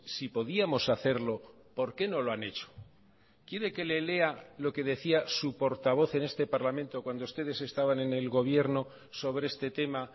si podíamos hacerlo por qué no lo han hecho quiere que le lea lo que decía su portavoz en este parlamento cuando ustedes estaban en el gobierno sobre este tema